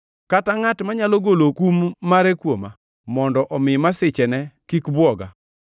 kata ngʼat manyalo golo kum mare kuoma, mondo omi masichene kik bwoga,